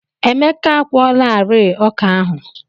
Emeka a kwụọlarịị ọkà ahụ.